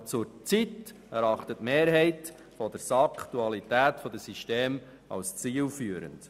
Aber zurzeit erachtet die Mehrheit der SAK die Dualität der Systeme als zielführend.